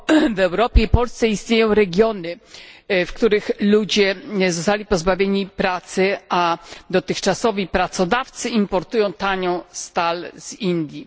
W Europie i Polsce istnieją regiony, w których ludzie zostali pozbawieni pracy, a dotychczasowi pracodawcy importują tanią stal z Indii.